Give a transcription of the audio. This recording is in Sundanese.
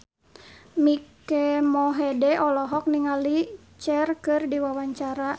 Mike Mohede olohok ningali Cher keur diwawancara